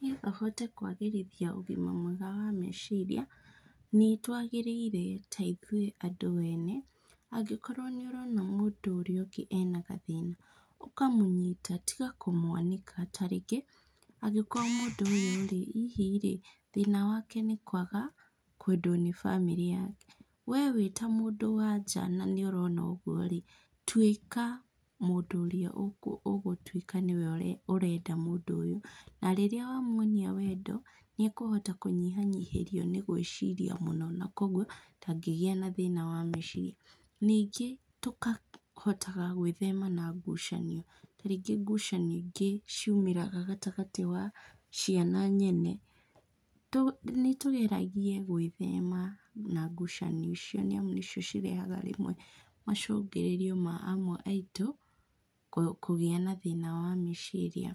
Niĩ no hote kwagĩrĩria ũgima mwega wa meciria, nĩtwagĩrĩire ta ithuĩ andũ ene, angĩkorwo nĩ ũrona mũndũ ũrĩa ũngĩ ena gathĩna, ũkamũnyita, tiga kũmwanĩka, ta rĩngĩ angĩkorwo mũndũ ũyũ-rĩ, hihi-rĩ, thina wake nĩ kwaga kwedwo nĩ bamĩrĩ yake. We wĩ ta mũndũ wa nja na nĩũrona ũguo-rĩ, tuĩka mũndũ ũrĩa ũgũtuĩka nĩwe ũrenda mũndũ ũyũ na rĩrĩa wamuonia wendo, nĩ ekũhota kũnyihanyihĩrio nĩ gwĩciria mũno na koguo ndangĩgĩa na thĩna wa mecirĩa, ningĩ tũkahotaga gwĩthema na ngucanio, ta rĩngĩ ngucanio ingĩ ciumagĩra gatagatĩ ga ciana nyene. Nĩtũgeragie gwĩthema na ngucanio icio nĩ amu nĩcio cirehaga rĩmwe macũngĩrĩrio ma amwe aitũ kũgĩa na thĩna wa meciria.